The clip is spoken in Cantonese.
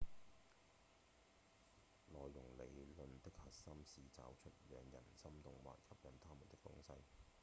內容理論的核心是找出讓人心動或吸引他們的東西